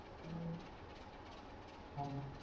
ஆம்மா